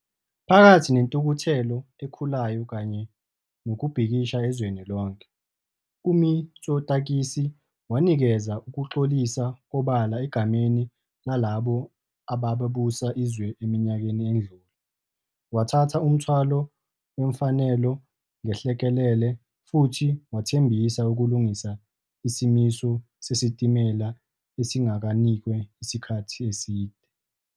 Phakathi nentukuthelo ekhulayo kanye nokubhikisha ezweni lonke, uMitsotakis wanikeza "ukuxolisa obala egameni lalabo ababusa izwe eminyakeni edlule", wathatha umthwalo wemfanelo ngenhlekelele futhi wathembisa ukulungisa isimiso sesitimela esinganakiwe isikhathi eside.